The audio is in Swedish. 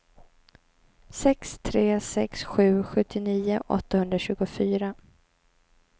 sex tre sex sju sjuttionio åttahundratjugofyra